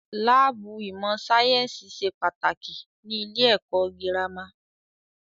Láàbù ìmọ̀ sáyẹ́nsì ṣe pàtàkì ní ilé ẹ̀kọ́ gírámà.